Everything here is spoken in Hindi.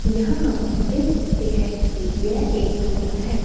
यहां हम देख सकते हैं कि यह एक कमरा है।